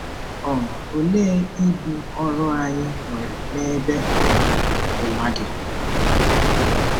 um Olee ibu ọrụ anyị nwere n'ebe ụwa ụwa dị?